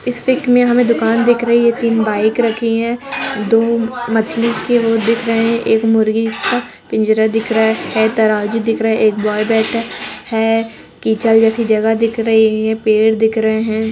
इस पिक मे हमे दुकान दिख रही है तीन बाइक रखी है दो मछली के वो दिख रहे है एक मुर्गे का पिंजरा दिख रहा है तराजू दिख रहा है एक बॉय बैठा है कीचड़ जैसी जगह दिख रही है पेड़ दिख रहे है।